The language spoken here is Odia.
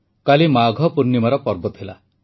କାଲି ମାଘ ପୂର୍ଣ୍ଣିମାର ପର୍ବ ଥିଲା